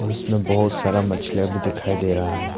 उसमें बहुत सारा मछलियां भी दिखाई दे रहा है।